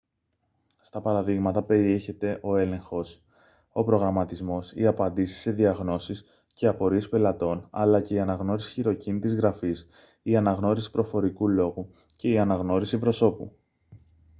στα παραδείγματα περιέχεται ο έλεγχος ο προγραμματισμός οι απαντήσεις σε διαγνώσεις και απορίες πελατών αλλά και η αναγνώριση χειροκίνητης γραφής η αναγνώριση προφορικού λόγου και η αναγνώριση προσώπου